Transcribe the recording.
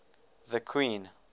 the queen